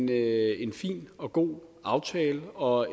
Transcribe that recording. det er en fin og god aftale og